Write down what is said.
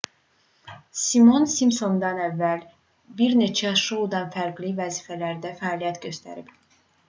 simon simpsonlar"dan əvvəl bir neçə şouda fərqli vəzifələrdə fəaliyyət göstərib